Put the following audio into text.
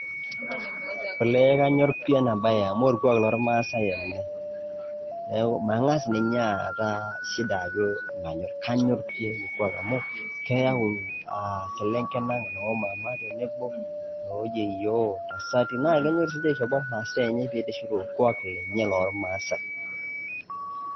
Olee kanyor pi ena bae amu orkwak loormaasae ele . Niaku mangas ninye aata shida Ajo ,kanyor pi ele kwak amu keyau iselenken Ang ,noo mama ,tenebo noo yieyioo ,ntasati ,naa kenyorr sininche aishopo mmasaa enye peitiship orkwaak loormaasae.